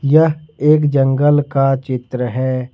यह एक जंगल का चित्र है।